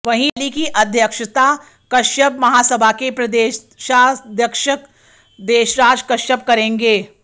वहीं रैली की अध्यक्षता कश्यप महासभा के प्रदेशाध्यक्ष देशराज कश्यप करेंगे